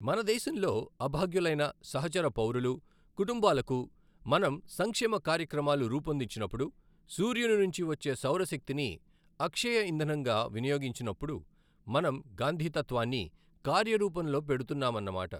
మనదేశంలో అభాగ్యులైన సహచర పౌరులు, కుటుంబాలకు మనం సంక్షేమ కార్యక్రమాలు రూపొందించినప్పుడు, సూర్యుని నుంచి వచ్చే సౌరశక్తిని అక్షయఇంధనంగా వినియోగించినప్పుడు మనం గాంధీతత్వాన్ని కార్యరూపంలో పెడుతున్నా మన్నమాట.